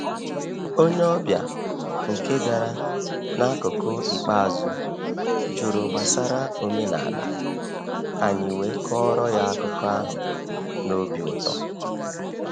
Onye ọbịa nke bịara n’akụkụ ikpeazụ jụrụ gbasara omenala, anyị wee kọọrọ ya akụkọ ahụ na obi ụtọ.